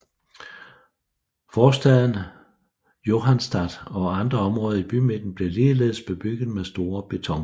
Forstaden Johannstadt og andre områder i bymidten blev ligeledes bebygget med store betonblokke